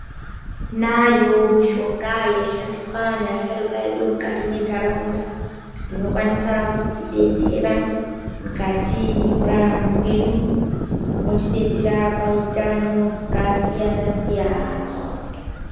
Tinayo mishonga yaishandiswa neasharukwa edu mukati mwentaraunda. Inokwanisa kuti detsera mukati mekurarama kwedu inotidetsera pahutano hwakasiyana-siyana.